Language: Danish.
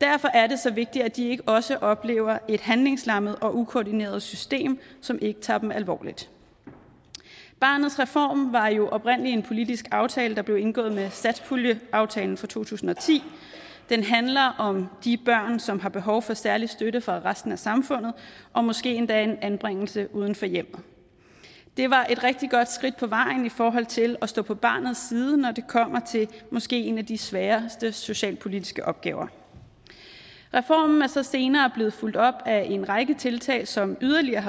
derfor er det så vigtigt at de ikke også oplever et handlingslammet og ukoordineret system som ikke tager dem alvorligt barnets reform var jo oprindelig en politisk aftale der blev indgået med satspuljeaftalen fra to tusind og ti den handler om de børn som har behov for særlig støtte fra resten af samfundet og måske endda en anbringelse uden for hjemmet det var et rigtig godt skridt på vejen i forhold til at stå på barnets side når det kommer til måske en af de sværeste socialpolitiske opgaver reformen er så senere blevet fulgt op af en række tiltag som yderligere har